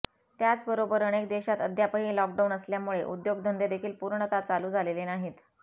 त्याचबरोबर अनेक देशात अद्यापही लॉकडाऊन असल्यामुळे उद्योगधंदे देखील पूर्णतः चालू झालेले नाहीत